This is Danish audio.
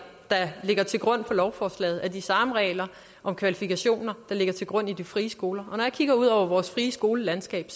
der ligger til grund for lovforslaget er de samme regler om kvalifikationer der ligger til grund for de frie skoler og når jeg kigger ud over vores friskolelandskab